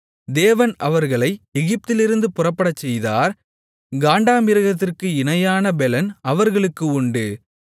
தேவன் அவர்களை எகிப்திலிருந்து புறப்படச்செய்தார் காண்டாமிருகத்திற்கு இணையான பெலன் அவர்களுக்கு உண்டு